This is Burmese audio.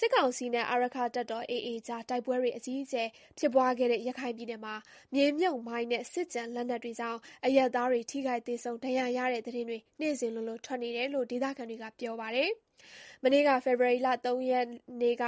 စစ်ကောင်စီနဲ့ အာရက္ခတပ်တော် AA ကြား တိုက်ပွဲတွေ အကြီးအကျယ်ဖြစ်ပွားခဲ့တဲ့ ရခိုင်ပြည်နယ်မှာ မြေမြှုပ်မိုင်းနဲ့ စစ်ကျန်လက်နက်တွေကြောင့် အရပ်သားတွေ ထိခိုက်သေဆုံးဒဏ်ရာရတဲ့သတင်းတွေ နေ့စဉ်လိုလိုထွက်ပေါ်နေကြောင်း ဒေသခံတွေကပြောပါတယ်။ မနေ့က ဖေဖေါ်ဝါရီလ ၃ ရက်က